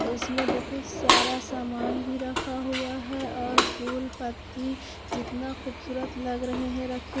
इसमें बहुत सारा सामान भी रखा हुआ है और फूल पत्ती जितना खूबसूरत लग रहे हैं रखें--